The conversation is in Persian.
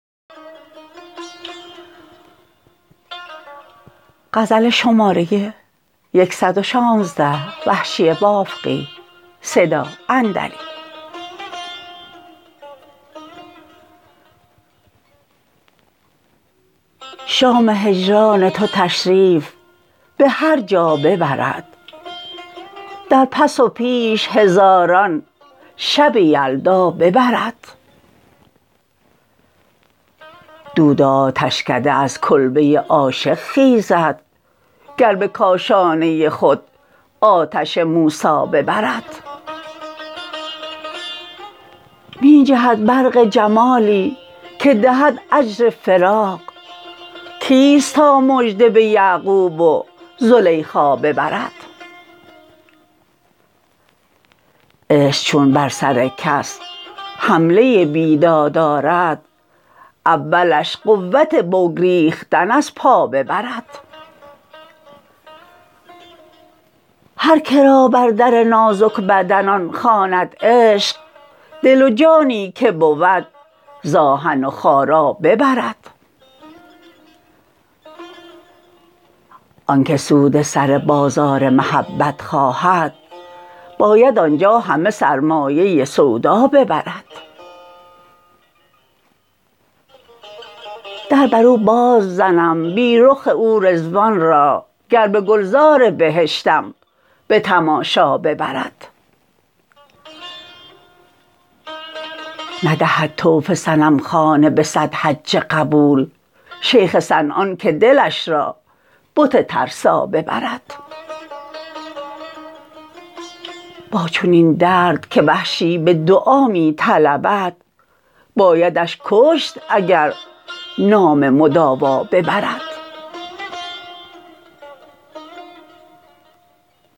شام هجران تو تشریف به هر جا ببرد در پس و پیش هزاران شب یلدا ببرد دود آتشکده از کلبه عاشق خیزد گر به کاشانه خود آتش موسا ببرد میجهد برق جمالی که دهد اجر فراق کیست تا مژده به یعقوب و زلیخا ببرد عشق چون بر سر کس حمله بیداد آرد اولش قوت بگریختن از پا ببرد هرکرا بر در نازک بدنان خواند عشق دل و جانی که بود ز آهن وخارا ببرد آنکه سود سر بازار محبت خواهد باید آنجا همه سرمایه سودا ببرد در برو باز زنم بی رخ او رضوان را گر به گلزار بهشتم به تماشا ببرد ندهد طوف صنمخانه به صد حج قبول شیخ صنعان که دلش را بت ترسا ببرد با چنین درد که وحشی به دعا می طلبد بایدش کشت اگر نام مداوا ببرد